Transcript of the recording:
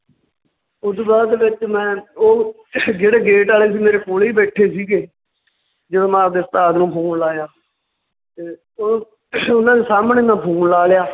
ਓਦੂ ਬਾਅਦ ਵਿੱਚ ਮੈਂ ਓਹ ਜਿਹੜੇ gate ਵਾਲੇ ਸੀ ਮੇਰੇ ਕੋਲੇ ਹੀ ਬੈਠੇ ਸੀਗੇ ਜਦੋਂ ਮੈਂ ਆਪਦੇ ਉਸਤਾਦ ਨੂੰ phone ਲਾਇਆ ਤੇ ਉਹ ਉਹਨਾਂ ਦੇ ਸਾਹਮਣੇ ਮੈਂ phone ਲਾ ਲਿਆ।